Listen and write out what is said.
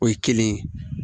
O ye kelen ye